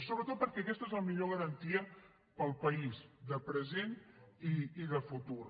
sobretot perquè aquesta és la millor garantia per al país de present i de futur